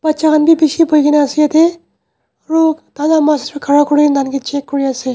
batcha khan bhi bisi bohe kina ase jatte aru tar laga master khara kori kina tarke check kori ase.